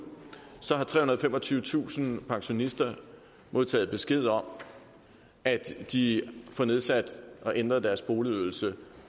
så har trehundrede og femogtyvetusind pensionister modtaget besked om at de får nedsat og ændret deres boligydelse